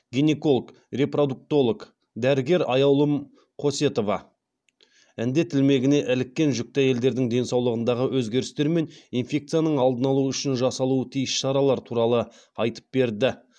гинеколог репродуктолог дәрігер аяулым қосетова індет ілмегіне іліккен жүкті әйелдердің денсаулығындағы өзгерістер мен инфекцияның алдын алу үшін жасалуы тиіс шаралар туралы айтып берді